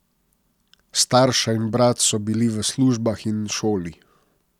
Starša in brat so bili v službah in šoli.